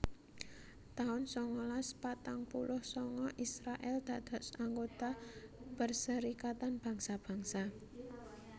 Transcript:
taun sangalas patang puluh sanga Israèl dados anggota Perserikatan Bangsa Bangsa